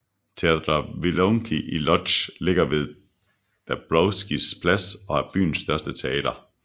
Teatr Wielki i Łódź ligger ved Dąbrowskis plads og er byens største teater